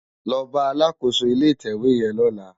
Lò bá àlákósó ilé itèwé yèn lòlá